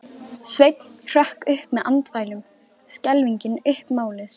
Sveinn hrökk upp með andfælum, skelfingin uppmáluð.